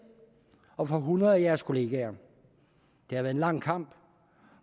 og for hundrede af jeres kollegaer det har været en lang kamp